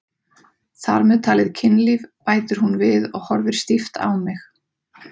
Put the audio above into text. Þar með talið kynlíf, bætir hún við og horfir stíft á mig.